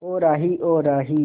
ओ राही ओ राही